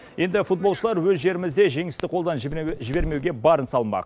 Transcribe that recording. енді футболшылар өз жерімізде жеңісті қолдан жібермеуге барын салмақ